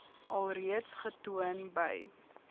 alreeds getoon by